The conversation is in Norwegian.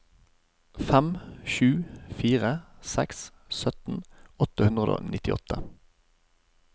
fem sju fire seks sytten åtte hundre og nittiåtte